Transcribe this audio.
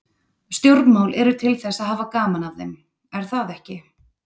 Stjórnmál eru til þess að hafa gaman af þeim, er það ekki?